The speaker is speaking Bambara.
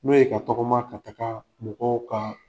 N'o ye ka tɔgɔma ka taga mɔgɔw ka